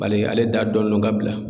Bali ale da dɔnnen don ka bila.